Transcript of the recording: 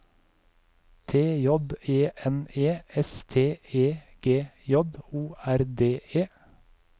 T J E N E S T E G J O R D E